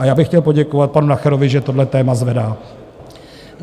A já bych chtěl poděkovat panu Nacherovi, že tohle téma zvedá.